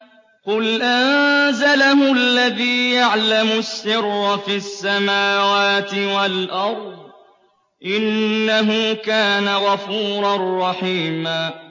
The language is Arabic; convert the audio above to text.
قُلْ أَنزَلَهُ الَّذِي يَعْلَمُ السِّرَّ فِي السَّمَاوَاتِ وَالْأَرْضِ ۚ إِنَّهُ كَانَ غَفُورًا رَّحِيمًا